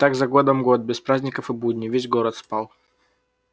и так за годом год без праздников и будней весь город спал